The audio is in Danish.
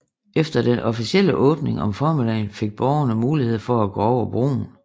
Efter den officielle åbning om formiddagen fik borgerne mulighed for at gå over broen